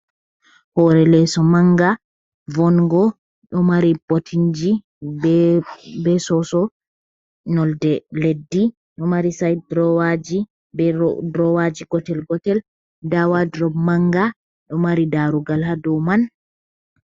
Hore leeso manga, vongo. Ɗo mari botinji be soso nolde leddi. Ɗo mari said droowaji be drowaji gotel-gotel. Nda wadrop manga, ɗo mari darugal ha dou man.